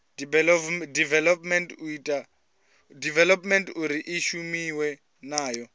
development uri i shumiwe nayo